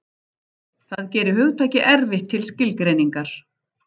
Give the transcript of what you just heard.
Það gerir hugtakið erfitt til skilgreiningar.